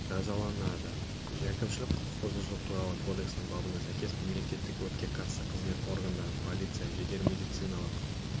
жазаланады әкімшілік құқықбұзушылық туралы кодексінің бабына сәйкес мемлекеттік өртке қарсы қызмет органдарын полицияны жедел медициналық